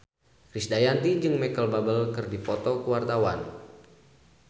Krisdayanti jeung Micheal Bubble keur dipoto ku wartawan